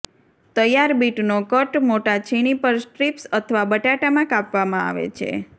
તૈયાર બીટનો કટ મોટા છીણી પર સ્ટ્રીપ્સ અથવા બટાટામાં કાપવામાં આવે છે